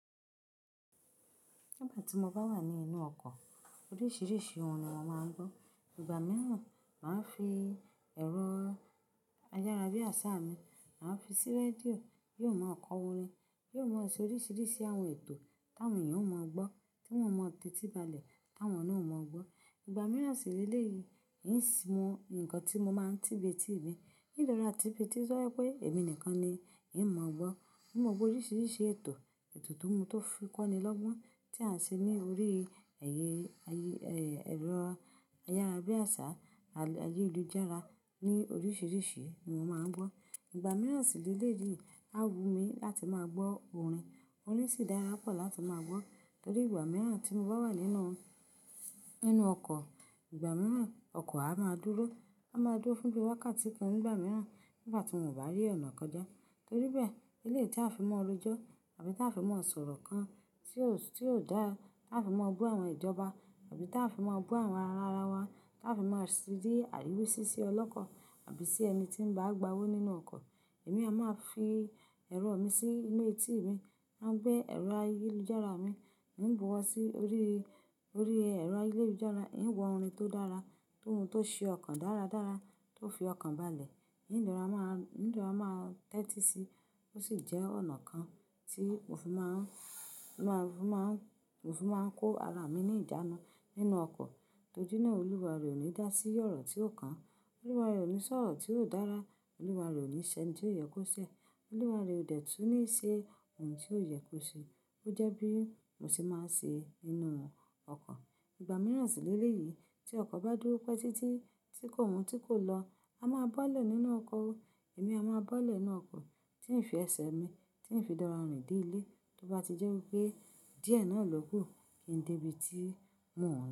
Nígbà tí mo bá wà nínú ọkọ̀, oríṣiríṣi ohun ni mo máa ń gbọ́. Ìgbà mìíràn, màá fi ẹ̀rọ ayárabíàṣá mi, màá fi sí rédíò, yóò máa ń kọ orin, yóò máa ṣe oríṣiríṣi àwọn ètò táwọn èèyàn ó mọ̀ ọ gbọ́, tí wọ́n ò mọ̀ tètè balẹ̀, táwọn náà ò mọ̀ ọ gbọ́. Ìgbà mìíràn sì léle yìí, n sì mọ nǹkan tí mo máa ń tìbé tí ì mi. Ìlòra tìbé tí ó ṣọ́ pé èmi nìkan ni ì ń mọ̀ ọ gbọ́. Mo mọ̀ gbọ́ oríṣiríṣi ètò, ètò tó mú tó fi kọ́ni lọ́gbọ́n tí a ń ṣe ní orí ẹ̀yẹ, ẹ̀rọ ayárabíàṣá àyélujára ní oríṣiríṣi ní mo máa ń gbọ́. Ìgbà mìíràn sì léle yìí, a wù mí láti máa gbọ́ orin, orin sì dára pọ̀ láti máa gbọ́. Torí ìgbà mìíràn tí mo bá wà nínú, nínú ọkọ̀, ìgbà mìíràn ọkọ̀ a máa dúró. A máa dúró fún bí i wákàtí kan, ìgbà mìíràn nígbà tí n ò bá rí ọ̀nà kọjá. Torí bẹ́ẹ̀, eléyi ti a fi mọ́ ọ rójọ́ àbí tí a fi mọ́ ọ sọ̀rọ̀ kan tí ò dára, tí a fi máa ń bu àwọn ìjọba àbí tí a fi máa ń bu àwọn ará wa, tí a fi máa ń ṣì ri àríwésí sí ọlọ́kọ̀ àbí sí ẹni tí ń bá gba owó nínú ọkọ̀, èmi a máa fi ẹ̀rọ mi sí inú etí mi. A ń gbé ẹ̀rọ ayélujára mi, n ń bu ọwọ́ sí orí, orí ẹ̀rọ ayélujára, n ń wa orin tó dára, ohun tó ṣe ọkàn dáradára, tó fi ọkàn balẹ̀. N rora máa ń tẹ́tí sí, ó sì jẹ́ ọ̀nà kan tí òfin máa ń, òfin máa ń kó ara mi ní ìjánu nínú ọkọ̀. Torí náà Olúwa rẹ ò ní dá sí ọ̀rọ̀ tí ò kan. Olúwa rẹ ò ní sọ ọ̀rọ̀ tí ò dára. Olúwa rẹ ò ní ṣe eni tí ò yẹ kó ṣẹ. Olúwa rẹ ò dẹ̀tú ní í ṣe ohun tí ò yẹ kó ṣe. Ó jẹ́ bí mo ṣe máa ń ṣe nínú ọkọ̀. Ìgbà mìíràn sì léle yìí tí ọkọ̀ bá dúró pẹ́ tí tí tí kò tí kò lọ, a máa bọ́lẹ̀ nínú ọkọ̀. Èmi a máa bọ́lẹ̀ nínú ọkọ̀ tí ń fi ẹsẹ̀ mi, tí ń fi d'ora orin dé ilé. Tó bá ti jẹ́ wí pé díẹ̀ náà ló kù, kí n débi tí mo ń lọ.